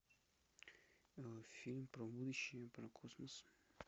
фильм про будущее про космос